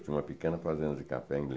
Tinha uma pequena fazenda de café em